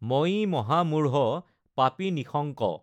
মঞি মহা মূঢ় পাপী নিঃশঙ্ক।